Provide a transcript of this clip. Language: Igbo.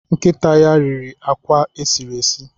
Nkịta ya riri akwa esiri esi.